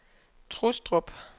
Trustrup